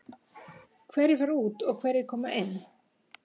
Hverjir fara út og hverjir koma inn?